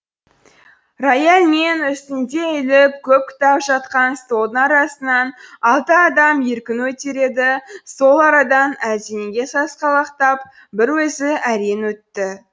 рояль мен үстінде үйіліп көп кітап жатқан столдың арасынан алты адам еркін өтер еді сол арадан әлденеге сасқалақтап бір өзі әрең өтті